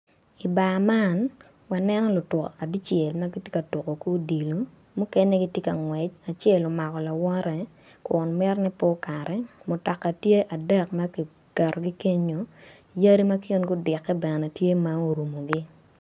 I bar man aneno lutuko abical matye ka tuko ki odilo mukene gitye ka ngwec acel omako lawote kun mito ni pe okati mutoka tye adek makiketo gi kenyo yadi ma kingi idite bene tye ma orumo gi.